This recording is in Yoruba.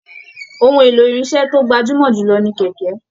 Òhun èlò irinṣẹ to gbajumọ jù lọ ní kẹkẹ.